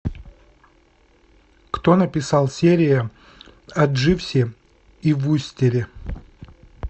кто написал серия о дживсе и вустере